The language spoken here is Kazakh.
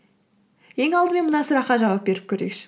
ең алдымен мына сұраққа жауап беріп көрейікші